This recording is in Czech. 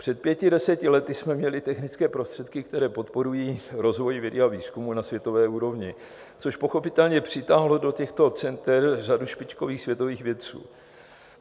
Před pěti, deseti lety jsme měli technické prostředky, které podporují rozvoj vědy a výzkumu na světové úrovni, což pochopitelně přitáhlo do těchto center řadu špičkových světových vědců.